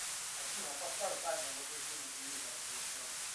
афина поставь таймер выключения телевизора через сорок минут